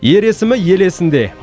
ер есімі ел есінде